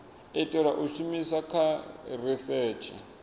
itelwa u shumiswa kha risetshe